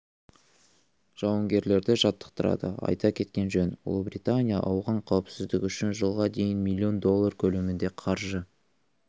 жауынгерлерді жаттықтырады айта кеткен жөн ұлыбритания ауған қауіпсіздігі үшін жылға дейін миллион доллары көлемінде қаржы